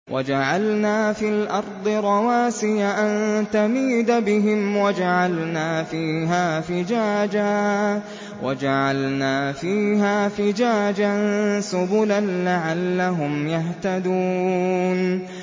وَجَعَلْنَا فِي الْأَرْضِ رَوَاسِيَ أَن تَمِيدَ بِهِمْ وَجَعَلْنَا فِيهَا فِجَاجًا سُبُلًا لَّعَلَّهُمْ يَهْتَدُونَ